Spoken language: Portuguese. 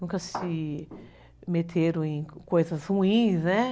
Nunca se meteram em coisas ruins, né?